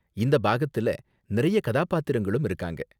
இந்த பாகத்தில நிறைய கதாபாத்திரங்களும் இருக்காங்க.